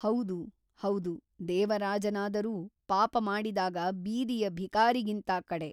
ಹೌದು ಹೌದು ದೇವರಾಜನಾದರೂ ಪಾಪ ಮಾಡಿದಾಗ ಬೀದಿಯ ಭಿಕಾರಿಗಿಂತ ಕಡೆ.